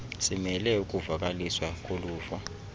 simele ukuvakaliswa koluvo